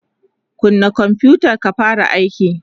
kunna konfutan ka fara aiki!